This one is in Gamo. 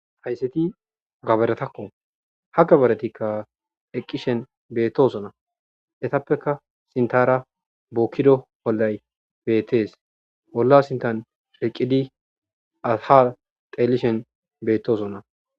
Haysseti gaberetakko ha gabaretikka eqqishen beettosonna etappeka sintara bokkido bollay beettees bolla sintan sheqqidi asha xeelishen beettoosonna